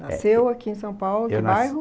Nasceu aqui em São Paulo, que bairro? Eu nasci